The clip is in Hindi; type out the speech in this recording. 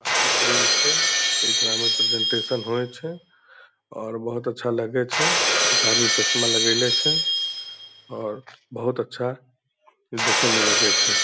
ऑफिस रूम छे। एकरा में प्रेजेंटेशन होवे छे और बहुत अच्छा लगे छे। एक आदमी चश्मा लगैले छे और बहुत अच्छा देखे में लगे छे।